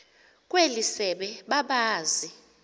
kweli sebe babazi